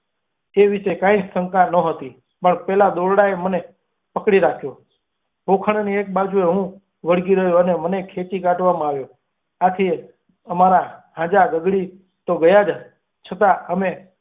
એ વિષે કઈ જ શકી નહોતી. પણ પેલા દોરડાએ મને પકડી રાખ્યો. ખોળાની એક બાજને હું વળગી રહ્યો અને મને ખેંચી કાઢવામાં આવ્યો. આથી અમારા ઈજા ગરી તો ગયા જ, છતાં અને.